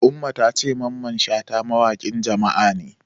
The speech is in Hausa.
Umma ta ce Mamman Shata mawaƙin Jama'a ne.